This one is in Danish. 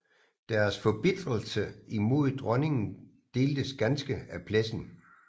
Deres forbitrelse imod dronningen deltes ganske af Plessen